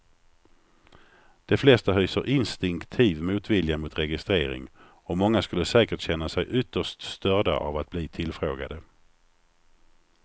De flesta hyser instinktiv motvilja mot registrering och många skulle säkert känna sig ytterst störda av att bli tillfrågade.